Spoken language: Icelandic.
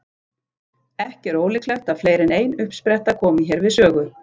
Ekki er ólíklegt að fleiri en ein uppspretta komi hér við sögu.